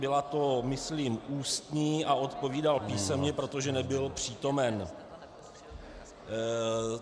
Byla to myslím ústní a odpovídal písemně, protože nebyl přítomen.